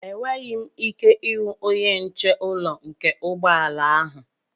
Enweghị m ike ịhụ onye nche ụrọ nke ụgbọ ala ahụ.